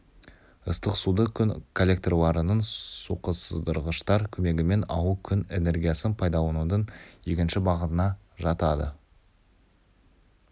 ыстық суды күн коллекторларының суқыздырғыштар көмегімен алу күн энергиясын пайдаланудың екінші бағытына жатады